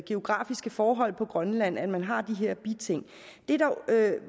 geografiske forhold på grønland at man har de her biting der